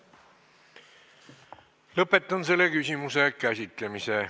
Lõpetan selle küsimuse käsitlemise.